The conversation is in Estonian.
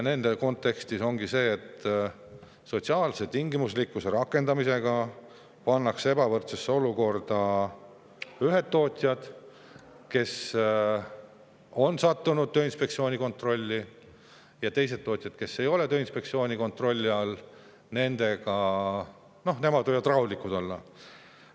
Selles kontekstis ongi nii, et sotsiaalse tingimuslikkuse rakendamisega pannakse ebavõrdsesse olukorda ühed tootjad, kes on sattunud Tööinspektsiooni kontrolli alla, aga teised tootjad, kes ei ole Tööinspektsiooni kontrolli all, võivad rahulikud olla.